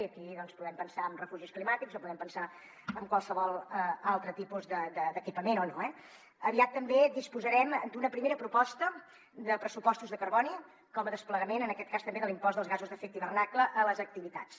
i aquí doncs podem pensar en refugis climàtics o podem pensar en qualsevol altre tipus d’equipament eh aviat també disposarem d’una primera proposta de pressupostos de carboni com a desplegament en aquest cas també de l’impost dels gasos d’efecte hivernacle a les activitats